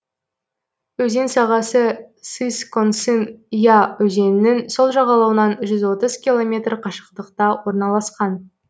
өзен сағасы сысконсын я өзенінің сол жағалауынан жүз отыз километр қашықтықта орналасқан